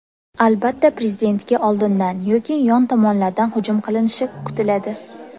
Albatta prezidentga oldindan yoki yon tomonlardan hujum qilinishi kutiladi.